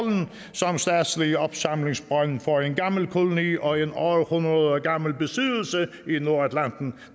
som statslig opsamlingsbrønd for en gammel koloni og en århundredegammel besiddelse i nordatlanten